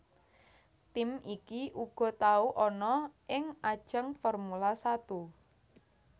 Tim iki uga tau ana ing ajang Formula Satu